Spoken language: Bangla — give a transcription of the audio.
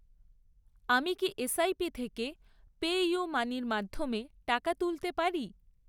আমি কি এসআইপি থেকে পেইউমানির মাধ্যমে টাকা তুলতে পারি?